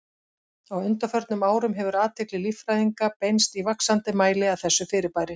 Á undanförnum árum hefur athygli líffræðinga beinst í vaxandi mæli að þessu fyrirbæri.